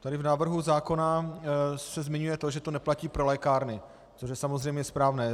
Tady v návrhu zákona se zmiňuje to, že to neplatí pro lékárny, což je samozřejmě správné.